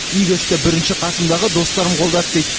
игі істі бірінші қасымдағы достарым қолдады дейді